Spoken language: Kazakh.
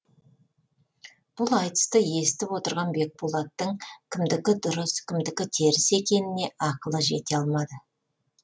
бұл айтысты есітіп отырған бекболаттың кімдікі дұрыс кімдікі теріс екеніне ақылы жете алмады